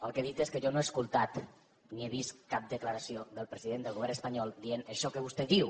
el que he dit és que jo no he escoltat ni he vist cap declaració del president del govern espanyol que digui això que vostè diu